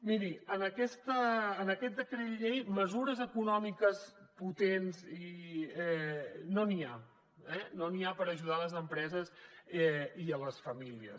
miri en aquest decret llei mesures econòmiques potents no n’hi ha eh no n’hi ha per ajudar les empreses i les famílies